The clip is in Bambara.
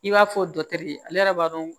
I b'a fɔ ale yɛrɛ b'a dɔn